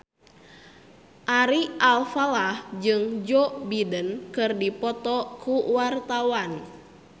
Ari Alfalah jeung Joe Biden keur dipoto ku wartawan